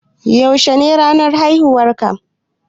Yaushe ne ranar haihuwan ka